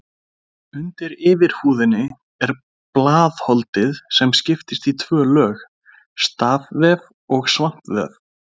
Undir yfirhúðinni er blaðholdið sem skiptist í tvö lög, stafvef og svampvef.